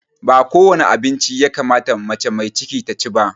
Ba kowane abinci ya kamata mace mai ciki ta ci ba